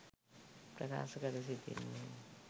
ප්‍රකාශ කර සිටින්නේ